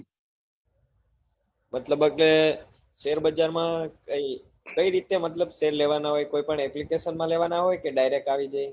મતલબ એટલે share બજાર માં કઈ રીતે મતલબ share લેવા ના હોય કોઈ પણ Application માં લેવા ના હોય કે direct આવી જાય